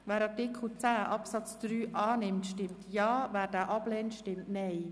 Wer Artikel 10 Absatz 3 zustimmt, stimmt Ja, wer diesen ablehnt, stimmt Nein.